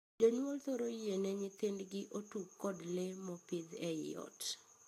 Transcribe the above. Jonyuol thoro yiene nyithindgi otug kod lee mopidhi ei ot.